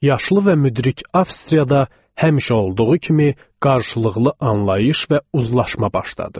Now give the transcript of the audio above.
Yaşlı və müdrik Avstriyada həmişə olduğu kimi qarşılıqlı anlayış və uzlaşma başladı.